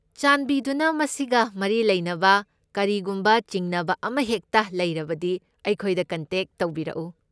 ꯆꯥꯟꯕꯤꯗꯨꯅ ꯃꯁꯤꯒ ꯃꯔꯤ ꯂꯩꯅꯕ ꯀꯔꯤꯒꯨꯝꯕ ꯆꯤꯡꯅꯕ ꯑꯃꯍꯦꯛꯇ ꯂꯩꯔꯕꯗꯤ ꯑꯩꯈꯣꯏꯗ ꯀꯣꯟꯇꯦꯛ ꯇꯧꯕꯤꯔꯛꯎ꯫